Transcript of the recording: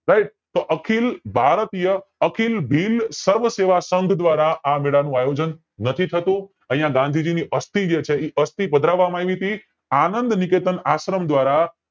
ભાઈ અખિલ ભારતીય અખિલ ભીલ સર્વ સેવા સંઘ દ્વારા આ મેળા આયોજન નથી થતું અહીંયા ગાંધીજી ની અસ્થિ જે છે ઈ અસ્થિ પધરાવમાં આવીતી આનંદ નિકેતન આશ્રમ દ્વારા